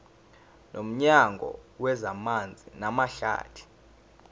nomnyango wezamanzi namahlathi